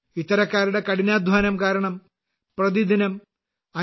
ഇത്തരക്കാരുടെ കഠിനാധ്വാനം കാരണം പ്രതിദിനം 5